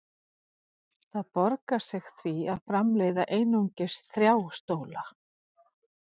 Það borgar sig því að framleiða einungis þrjá stóla.